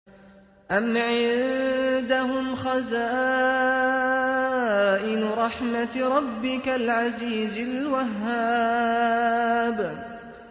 أَمْ عِندَهُمْ خَزَائِنُ رَحْمَةِ رَبِّكَ الْعَزِيزِ الْوَهَّابِ